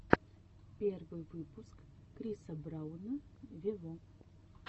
первый выпуск криса брауна вево